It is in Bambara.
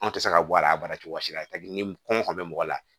Anw tɛ se ka bɔ a la a baara cogo si la ni kɔngɔ kun bɛ mɔgɔ la